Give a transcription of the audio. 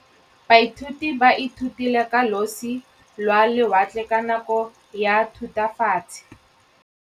Baithuti ba ithutile ka losi lwa lewatle ka nako ya Thutafatshe.